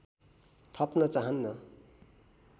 थप्न चाहन्न